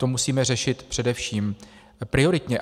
To musíme řešit především prioritně.